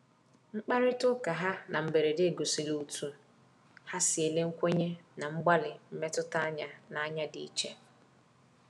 Mkparịta ụkaha na mberede gosiri otú ha si ele nkwenye na mgbalị mmetụta anya n’anya dị iche.